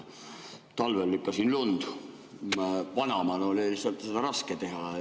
Talvel lükkasin lund, vanaemal oli lihtsalt seda raske teha.